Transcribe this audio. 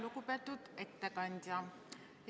Lugupeetud ettekandja!